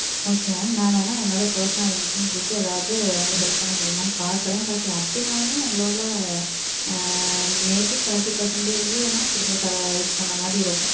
okay mam. நான் வென என்னோட personal contacts vachu உங்களுக்கு ஏதாவது help பண்ண முடியுமான்னு பாக்குறேன். but, அப்பிடினாலுமே உங்களோட may be thirty percent தான் என்னால இது பண்ணி தர்ற மாறி இருக்கும்.